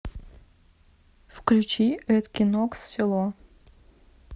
включи эд кин окс село